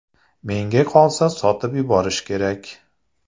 Menga qolsa sotib yuborish kerak.